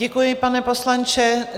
Děkuji, pane poslanče.